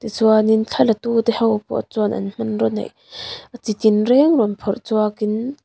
ti chuan in thla la tu te ho pawh chuan an hmanraw neih a chi tir reng rawn phawrh chhuak in.